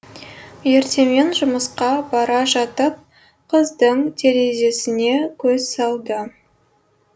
ертемен жұмысқа бара жатып қыздың терезесіне көз салды